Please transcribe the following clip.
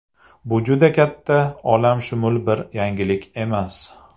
Bu juda katta olamshumul bir yangilik emas.